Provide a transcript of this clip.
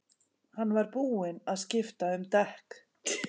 Hann var búinn að skipta um dekk.